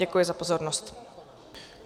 Děkuji za pozornost.